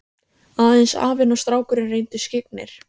Aðeins afinn og strákurinn reyndust skyggnir.